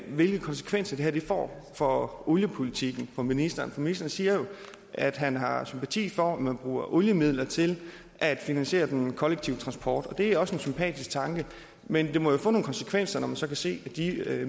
hvilke konsekvenser det her får for oliepolitikken for ministeren for ministeren siger jo at han har sympati for at man bruger oliemidler til at finansiere den kollektive transport det er også en sympatisk tanke men det må jo få nogle konsekvenser når man så kan se at de